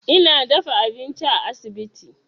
Ina dafa abinci a asibiti.